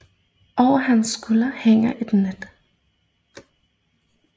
Over hans skulder hænger et net